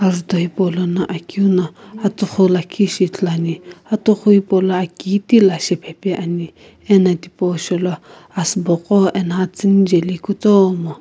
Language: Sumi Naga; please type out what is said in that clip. azutho hipou lono akeu no atughu lakhi shi ithulu ane atughu hipou lo aki kitila shiphaepa ani ano thipa shou lo asiibo qo eno atsiini jaeli kutomo.